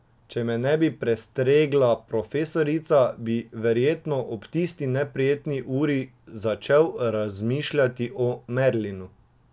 Če me ne bi prestregla profesorica, bi verjetno ob tisti neprijetni uri začel razmišljati o Merlinu.